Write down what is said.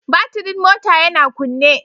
Batirin mota yana kunne